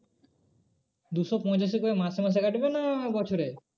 দুশো পঁচাশি করে মাসে মাসে কাটবে না বছরে?